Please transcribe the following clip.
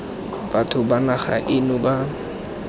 batho ba naga eno ba